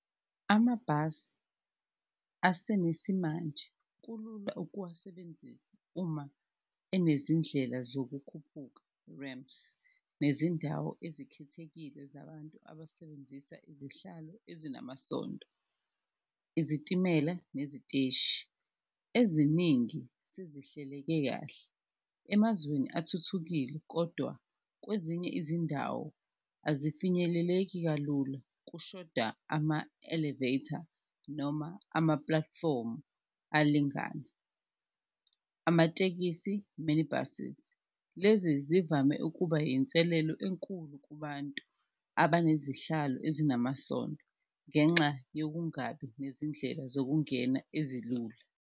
Amabhasi asenesimanje kulula ukuwasebenzisa uma enezindlela zokukhuphuka ramps, nezindawo ezikhethekile zabantu abasebenzisa izihlalo ezinamasondo. Izitimela neziteshi, eziningi sezihleleke kahle emazweni athuthukile kodwa kwezinye izindawo ezifinyeleleki kalula, kushoda ama-elevator noma ama-platform alingane. Amatekisi mini buses, lezi zivame ukuba inselelo enkulu kubantu abanezihlalo ezinamasondo ngenxa yokungabi nezindlela zokungena ezilula.